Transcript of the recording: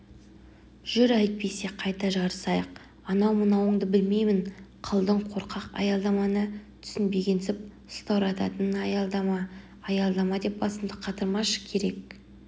жүр әйтпесе қайта жарысайық анау-мынауынды білмеймін қалдың қорқақ аялдаманы түсінбегенсіп сылтауратуын аялдама аялдамадеп басымды қатырмашы керек